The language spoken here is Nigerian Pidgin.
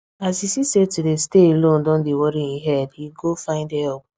as he see say to day stay alone don dey worry hin head he go find help